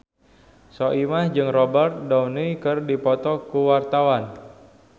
Soimah jeung Robert Downey keur dipoto ku wartawan